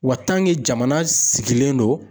Wa jamana sigilen don.